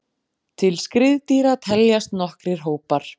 Til skriðdýra teljast nokkrir hópar.